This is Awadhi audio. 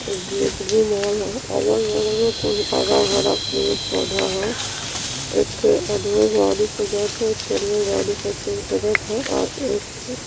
इ जे एच वी मॉल ह। अगल बगल में कुल बड़ा-बड़ा पेड़ पौधा ह। एक थे अदमी गाडी पे जा ता एगो आदमी गाड़ी पर से उतरत ह और एक ठे --